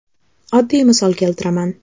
Oddiy misol keltiraman.